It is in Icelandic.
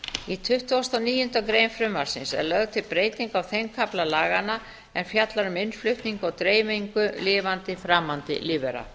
í tuttugasta og níundu grein frumvarpsins er lögð til breyting á þeim kafla laganna er fjallar um innflutning og dreifingu lifandi framandi lífvera